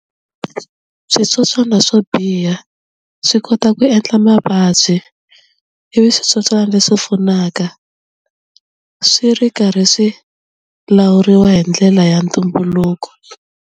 Switsotswana swo biha swi kota ku endla mavabyi ivi switsotswana leswi pfunaka swi ri karhi swi lawuriwa hi ndlela ya ntumbuluko.